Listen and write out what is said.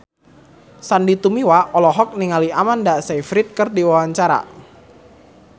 Sandy Tumiwa olohok ningali Amanda Sayfried keur diwawancara